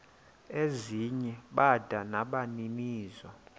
ezinye bada nabaninizo